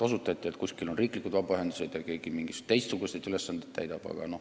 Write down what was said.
Osutati, et kuskil on riiklikud vabaühendused ja keegi täidab mingisuguseid teistsuguseid ülesandeid.